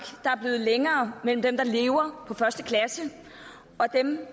er blevet længere mellem dem der lever på første klasse og dem